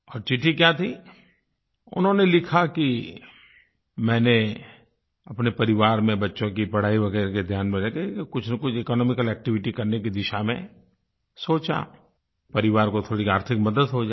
और चिट्ठी क्या थी उन्होंने लिखा कि मैंने अपने परिवार में बच्चों की पढ़ाई वगैरह के ध्यान में रह के कुछनकुछ इकोनॉमिकल एक्टिविटी करने की दिशा में सोचा तो परिवार को थोड़ी आर्थिक मदद हो जाए